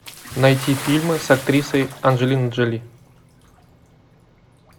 найти фильмы с актрисой анджелиной джоли